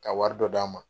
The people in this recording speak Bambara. Ka wari dɔ d'a ma